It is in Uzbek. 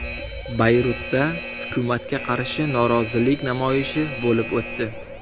Bayrutda hukumatga qarshi norozilik namoyishi bo‘lib o‘tdi.